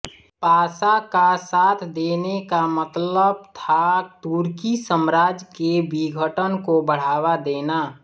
पाशा का साथ देने का मतलब था तुर्की साम्राज्य के विघटन को बढ़ावा देना